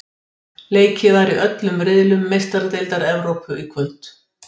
Leikið var í öllum riðlum Meistaradeildar Evrópu í kvöld.